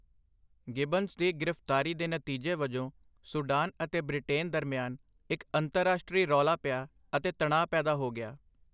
Gibbons ਦੀ ਗ੍ਰਿਫਤਾਰੀ ਦੇ ਨਤੀਜੇ ਵਜੋਂ ਸੂਡਾਨ ਅਤੇ ਬ੍ਰਿਟੇਨ ਦਰਮਿਆਨ ਇੱਕ ਅੰਤਰਰਾਸ਼ਟਰੀ ਰੌਲਾ ਪਿਆ ਅਤੇ ਤਣਾਅ ਪੈਦਾ ਹੋ ਗਿਆ।